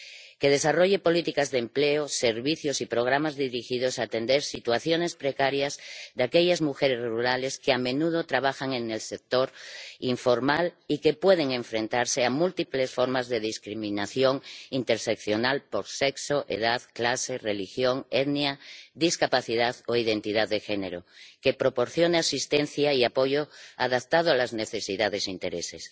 que desarrolle políticas de empleo, servicios y programas dirigidos a atender situaciones precarias de aquellas mujeres rurales que, a menudo, trabajan en el sector informal y que pueden enfrentarse a múltiples formas de discriminación interseccional por sexo, edad, clase, religión, etnia, discapacidad o identidad de género que proporcione asistencia y apoyo adaptados a las necesidades e intereses